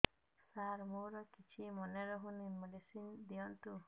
ସାର ମୋର କିଛି ମନେ ରହୁନି ମେଡିସିନ ଦିଅନ୍ତୁ